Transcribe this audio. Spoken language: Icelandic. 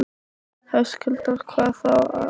Höskuldur: Hvað þá aðallega?